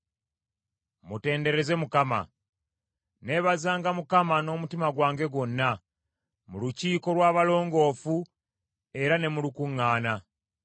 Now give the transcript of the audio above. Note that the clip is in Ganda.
Mutendereze Mukama ! Nneebazanga Mukama n’omutima gwange gwonna, mu lukiiko lw’abalongoofu, era ne mu lukuŋŋaana.